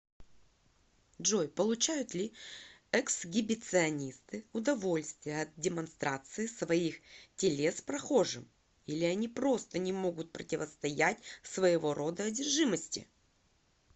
джой получают ли эксгибиционисты удовольствие от демонстрации своих телес прохожим или они просто не могут противостоять своего рода одержимости